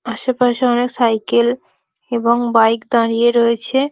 আশেপাশে অনেক সাইকেল এবং বাইক দাঁড়িয়ে রয়েছে--